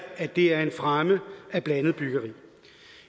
at det er en fremme af blandet byggeri